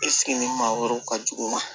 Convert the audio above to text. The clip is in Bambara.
maa wɛrɛw ka jugu ma